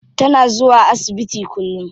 Tana zuwa asibiti kullum.